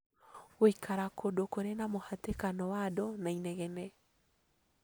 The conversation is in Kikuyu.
Gũikara kũndũ kũrĩ na mũhatĩkano wa andũ na inegene